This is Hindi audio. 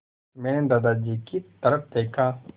मैंने दादाजी की तरफ़ देखा